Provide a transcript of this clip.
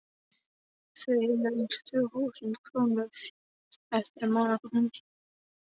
Þau eiga aðeins tvö þúsund krónur eftir af mánaðarkaupinu hans.